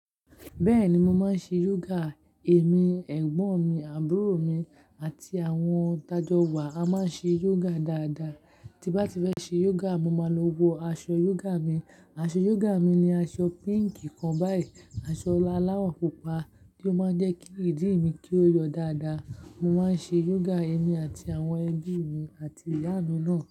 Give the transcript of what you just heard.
Bẹ́ẹ̀ni, mo máa ń ṣe yoga, èmi, ẹ̀gbọ́n mi, àbúrò mi àti àwọn tájọ́ wa, a máa ń ṣe yoga dáadáa. Ti bá ti fẹ́ ṣe yoga, mo máa lọ wọ aṣọ yoga mi. Aṣọ yoga mi ni aṣọ pink kan báyìí, aṣọ alawo pupa ti o máa ń jẹ́ kí ìdí ì mi kí ó yọ dáadáa. Mo máa ń ṣe yoga èmi àti àwọn ẹbí mi àti iyami náà.